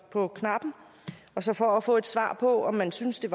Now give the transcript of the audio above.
på knappen og så for at få et svar på om man synes det